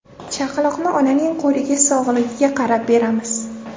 Chaqaloqni onaning qo‘liga sog‘lig‘iga qarab beramiz.